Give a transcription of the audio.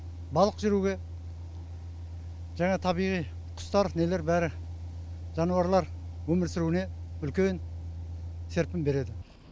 балық жүруге жаңа табиғи құстар нелер бәрі жануарлар өмір сүруіне үлкен серпін береді